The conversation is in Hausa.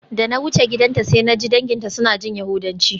Da na wuce gidanta sai naji danginta suna jin yahudanci.